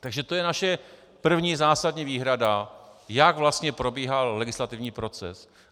Takže to je naše první zásadní výhrada, jak vlastně probíhal legislativní proces.